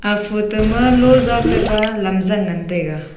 aga photo ma lo za te ba lamzang ngan taiga.